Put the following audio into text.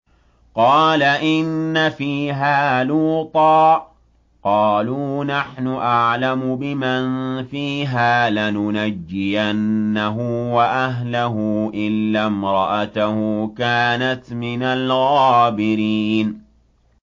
قَالَ إِنَّ فِيهَا لُوطًا ۚ قَالُوا نَحْنُ أَعْلَمُ بِمَن فِيهَا ۖ لَنُنَجِّيَنَّهُ وَأَهْلَهُ إِلَّا امْرَأَتَهُ كَانَتْ مِنَ الْغَابِرِينَ